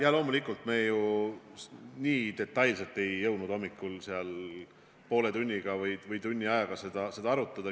Jaa, loomulikult me nii detailselt ei jõudnud hommikul poole tunni või tunni ajaga seda arutada.